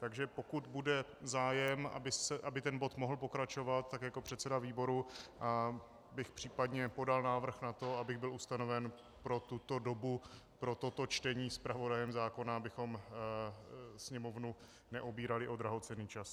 Takže pokud bude zájem, aby ten bod mohl pokračovat, tak jako předseda výboru bych případně podal návrh na to, abych byl ustanoven pro tuto dobu pro toto čtení zpravodajem zákona, abychom Sněmovnu neobírali o drahocenný čas.